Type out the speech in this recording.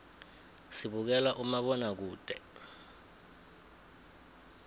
sibukela umabonakude